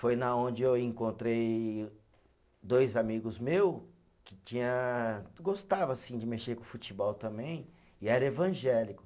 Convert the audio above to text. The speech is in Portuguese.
Foi na onde eu encontrei dois amigos meu que tinha, que gostava assim de mexer com futebol também e era evangélico.